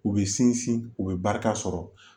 U bɛ sinsin u bɛ barika sɔrɔ